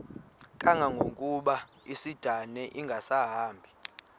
kangangokuba isindane ingasahambi